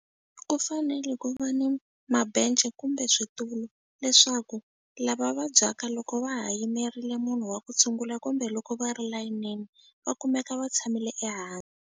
Ku fanele ku va ni kumbe switulu leswaku lava vabyaka loko va ha yimerile munhu wa ku tshungula kumbe loko va ri layinini va kumeka va tshamile ehansi.